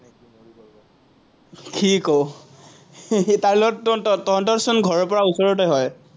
কি ক, তাৰ লগত তঁহতৰচোন ঘৰৰপৰা ওচৰতে হয়।